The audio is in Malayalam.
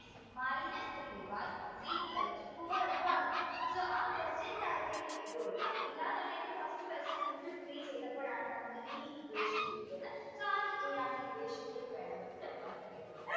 minus three y is equal to four എന്നും ആണ് so question ന്റെ അകത്തേക്ക് ഇട്ട് കൊടുക്കാം ഇല്ല എന്നുണ്ടെങ്കിൽ first question into three ചെയ്യുമ്പോഴാണ് ഈ equation കിട്ടിയത് equation ലേക്ക് വേണമെങ്കിൽ നമുക്ക് ഇട്ടുകൊടുക്കും